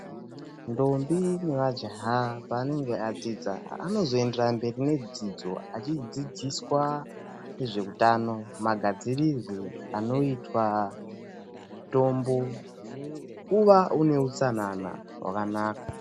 Ndombi nemajaha paanenge adzidza anozoenderera mberi nedzidzo achidzidziswa nezveutano, magadzirirwe anoitwa mitombo nekuwa une utsanana hwakanaka.